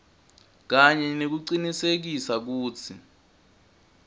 kanye nekucinisekisa kutsi